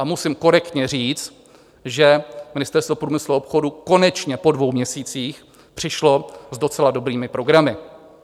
A musím korektně říct, že Ministerstvo průmyslu a obchodu konečně po dvou měsících přišlo s docela dobrými programy.